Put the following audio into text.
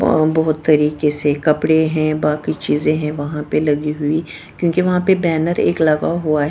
और बहुत तरीके से कपड़े हैं बाकी चीजें हैं वहां पे लगी हुई क्योंकि वहां पे बैनर एक लगा हुआ है।